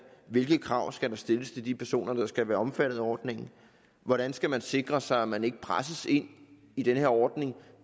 hvilke krav skal der stilles til de personer der skal være omfattet af ordningen hvordan skal man sikre sig at man ikke presses ind i den her ordning